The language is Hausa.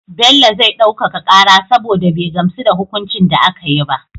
Bello zai ɗaukaka kara saboda be gamsu da hukuncin da akayi ba